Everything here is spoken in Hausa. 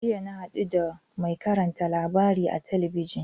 Jiya na haɗu da mai karanta labarai a talabijin.